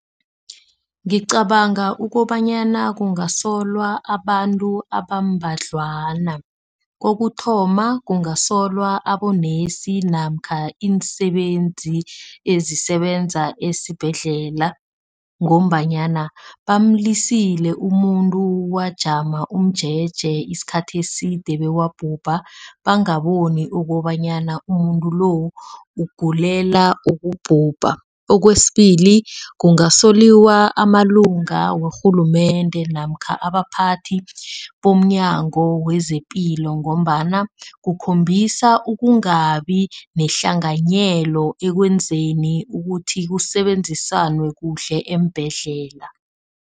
Ngicabanga ukobanyana kungasolwa abantu abambadlwana. Kokuthoma kungasolwa abonesi namkha iinsebenzi ezisebenza esibhedlela ngombanyana bamlisile umuntu wajama umjeje isikhathi eside, bewabhubha bangaboni ukobanyana umuntu lo ugulela ukubhubha. Okwesibili kungasolwa amalunga karhulumende namkha abaphathi bomnyango wezepilo ngombana kukhombisa ukungabi nehlanganyelo ekwenzeni ukuthi kusebenziswane kuhle eembhedlela.